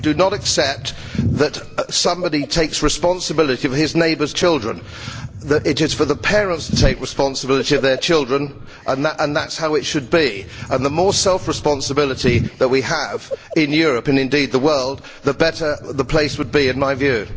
I do not accept that somebody takes responsibility for his neighbour's children. It is for the parents to take responsibility for their children and that is how it should be. The more self responsibility we had in Europe and indeed, the world the better it would be, in my view.